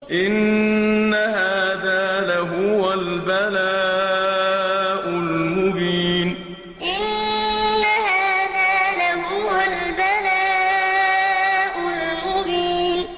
إِنَّ هَٰذَا لَهُوَ الْبَلَاءُ الْمُبِينُ إِنَّ هَٰذَا لَهُوَ الْبَلَاءُ الْمُبِينُ